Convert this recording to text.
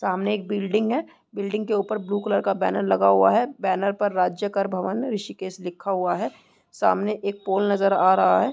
सामने एक बिल्डिंग है बिल्डिंग के ऊपर ब्लू कलर का बैनर लगा हुआ है बैनर पर राज्य कर भवन ऋषिकेश लिखा हुआ है सामने एक पोल नजर आ रहा है।